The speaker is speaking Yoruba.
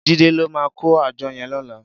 Jide ló mà kó ájò yèn lòlá